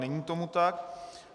Není tomu tak.